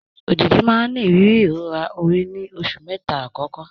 Òjìji máa ń ní ìrírí ìrora orí ní oṣù mẹ́ta àkọ́kọ́.